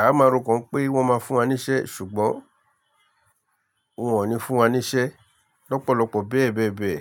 A máa ro kan pé wọ́n máa fún wa níṣẹ́ ṣùgbọ́n wọ́n ò ní fún wa níṣẹ́ lọ́pọ̀lọpọ̀ bẹ́ẹ̀bẹ́ẹ̀bẹ́ẹ̀